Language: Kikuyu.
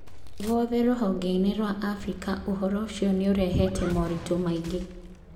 Guothe rũhongeinĩ rwa Afrika ũhoro ũcio nĩũrehete maũritũ maingĩ.